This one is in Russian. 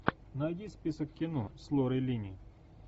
найди список кино с лорой линни